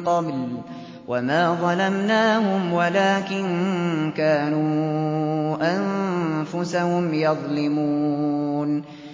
قَبْلُ ۖ وَمَا ظَلَمْنَاهُمْ وَلَٰكِن كَانُوا أَنفُسَهُمْ يَظْلِمُونَ